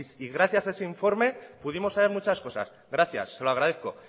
y gracias a ese informe pudimos saber muchas cosas gracias se lo agradezco